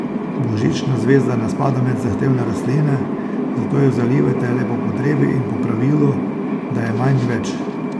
Božična zvezda ne spada med zahtevne rastline, zato jo zalivajte le po potrebi in po pravilu, da je manj več.